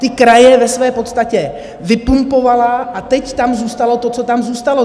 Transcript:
Ty kraje ve své podstatě vypumpovala a teď tam zůstalo to, co tam zůstalo.